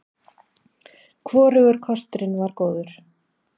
Hvorugur kosturinn var góður.